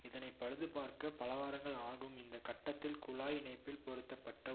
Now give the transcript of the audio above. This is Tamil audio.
இதனை பழுதுபார்க்க பலவாரங்கள் ஆகும் இந்த கட்டத்தில் குழாய் இணைப்பில் பொருத்த பட்ட